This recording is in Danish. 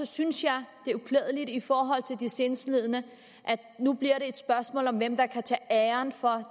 synes jeg at i forhold til de sindslidende at det nu bliver et spørgsmål om hvem der kan tage æren for